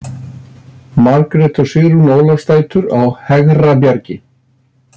Margrét og Sigrún Ólafsdætur á Hegrabjargi